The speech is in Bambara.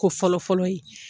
Ko fɔlɔfɔlɔ ye.